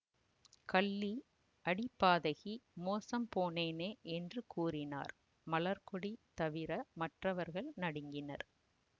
கள்ளி அடி பாதகி மோசம் போனேனே என்று கூறினார் மலர்க்கொடி தவிர மற்றவர்கள் நடுங்கினர்